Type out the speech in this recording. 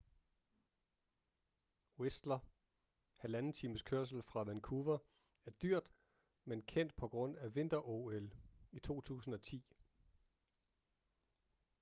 whistler 1,5 times kørsel fra vancouver er dyrt men kendt på grund af vinter-ol i 2010